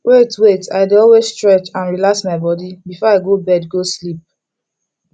wait wait i dey always stretch and relax my body before i go bed go sleep